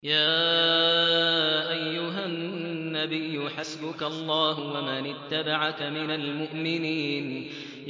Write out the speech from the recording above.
يَا أَيُّهَا النَّبِيُّ حَسْبُكَ اللَّهُ وَمَنِ اتَّبَعَكَ مِنَ الْمُؤْمِنِينَ